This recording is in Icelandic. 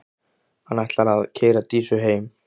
Hann ætlar að keyra Dísu heim.